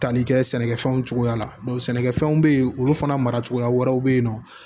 Tali kɛ sɛnɛkɛfɛnw cogoya la sɛnɛkɛfɛnw bɛ yen olu fana mara cogoya wɛrɛw bɛ yen nɔ